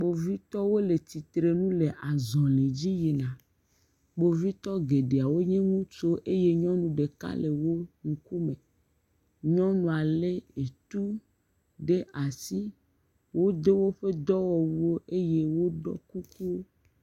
Kpovitɔwo le tsitre nu le azɔ̃li dzi yina. Kpovitɔ geɖe wonye ŋutsuwo eye nyɔnu ɖeka le wo ŋkume. Nyɔnua lé etu ɖe asi. Wodo woƒe dɔwɔwuwo eye woɖɔ kuku.